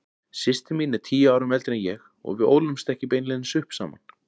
Systir mín er tíu árum eldri en ég og við ólumst ekki beinlínis upp saman.